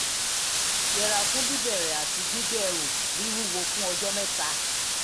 yẹra fún bíbẹ̀rẹ̀ àti gbígbé ẹrù wíwúwo fún ọjọ́ mẹ́ta